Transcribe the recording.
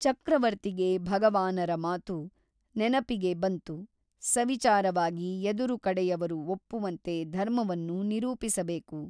ಚಕ್ರವರ್ತಿಗೆ ಭಗವಾನರ ಮಾತು ನೆನಪಿಗೆ ಬಂತು ಸವಿಚಾರವಾಗಿ ಎದುರು ಕಡೆಯವರು ಒಪ್ಪುವಂತೆ ಧರ್ಮವನ್ನು ನಿರೂಪಿಸಬೇಕು.